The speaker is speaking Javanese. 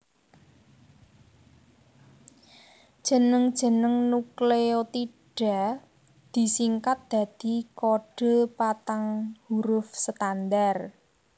Jeneng jeneng nukleotida disingkat dadi kodhe patang huruf standar